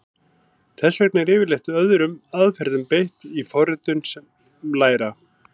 Þess vegna er yfirleitt öðrum aðferðum beitt í forritum sem læra.